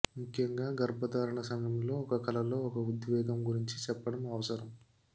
ముఖ్యంగా గర్భధారణ సమయంలో ఒక కలలో ఒక ఉద్వేగం గురించి చెప్పడం అవసరం